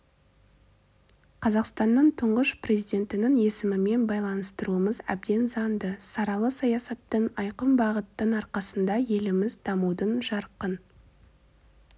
қазақстанның тұңғыш президентінің есімімен байланыстыруымыз әбден заңды саралы саясаттың айқын бағыттың арқасында еліміз дамудың жарқын